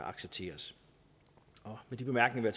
accepteres med de bemærkninger